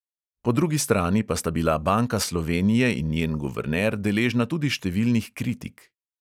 Po drugi strani pa sta bila banka slovenije in njen guverner deležena tudi številnih kritik.